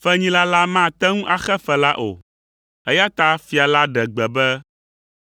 Fenyila la mate ŋu axe fe la o, eya ta fia la ɖe gbe be